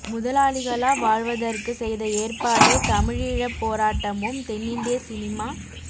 முதலாளிகளாக் வாழ்வ்தற்கு செய்த ஏற்பாடே தமிழீழப்போராட்டமும் தென்னிந்திய சினிமா